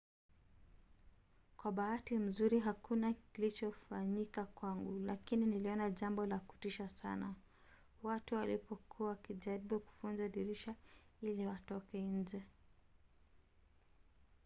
"kwa bahati nzuri hakuna klichofanyika kwangu lakini niliona jambo la kutisha sana watu walipokuwa wakijaribu kuvunja madirisha ili watoke nje